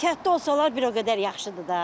Ehtiyatlı olsalar bir o qədər yaxşıdır da.